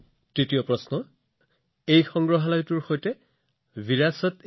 তৃতীয় প্ৰশ্ন বিৰাচতইখালচা এই সংগ্ৰহালয়ৰ সৈতে সম্পৰ্কিত